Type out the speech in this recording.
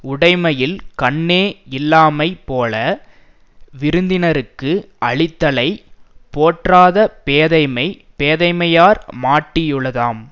உடைமையில் கண்ணே யில்லாமைபோல விருந்தினர்க்கு அளித்தலைப் போற்றாத பேதைமை பேதைமையார் மாட்டியுளதாம்